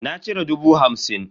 Na cire dubu hamsin.